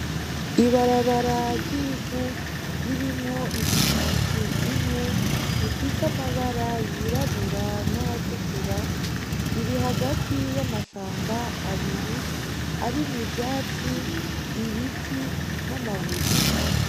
Ibarabara ryivu ririmwo ipikipiki imwe ifise amabara yirabura n'ayatukura riri hagati y'amashamba abiri arimwo ivyatsi ibiti n'amabuye.